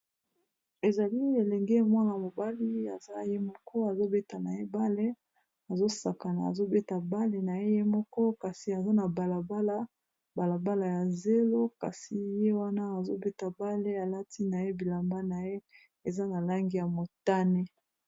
Ezali elenge mwana mobali aza ye moko azobeta na ye bale azosakana azobeta bale na ye ye moko kasi aza na balabala balabala ya zelo kasi ye wana azobeta bale alatina ye bilamba na ye eza na langi ya motane.